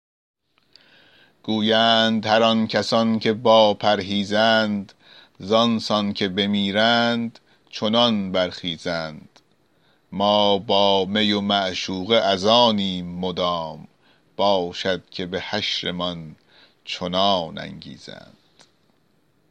گویند هر آن کسان که با پرهیزند زآن سان که بمیرند چنان برخیزند ما با می و معشوقه از آنیم مدام باشد که به حشرمان چنان انگیزند